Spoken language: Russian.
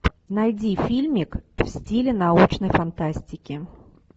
найди фильмик в стиле научной фантастики